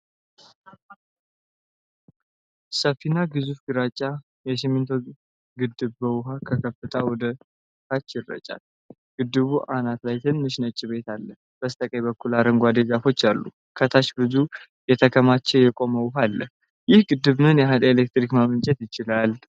ሰፊና ግዙፍ ግራጫ የሲሚንቶ ግድብ ውሃ ከከፍታው ወደ ታች ይረጫል። በግድቡ አናት ላይ ትንሽ ነጭ ቤት አለ። በስተቀኝ በኩል አረንጓዴ ዛፎች አሉ። ከታች ብዙ የተከማቸ የቆመ ውሃ አለ። ይህ ግድብ ምን ያህል ኤሌክትሪክ ማመንጨት ይችላል?